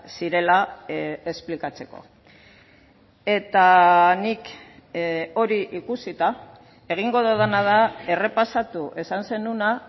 zirela esplikatzeko eta nik hori ikusita egingo dudana da errepasatu esan zenuena